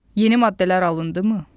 Yeni maddələr alındımı?